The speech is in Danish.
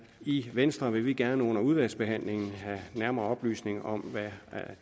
i venstre vil vi gerne under udvalgsbehandlingen have nærmere oplysninger om hvad